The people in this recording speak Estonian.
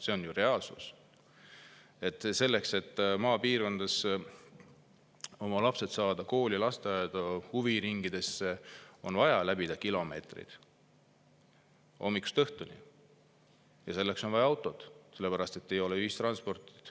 See on reaalsus, et selleks et saada maapiirkonnas oma lapsed kooli, lasteaeda, huviringidesse, on vaja läbida kilomeetreid, hommikust õhtuni, ja selleks on vaja autot, sellepärast et ei ole ühistransporti.